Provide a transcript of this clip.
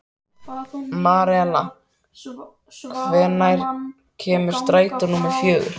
Marela, hvenær kemur strætó númer fjögur?